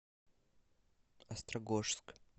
острогожск